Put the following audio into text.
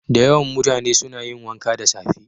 Da yawan mutane suna yin wanka da safe.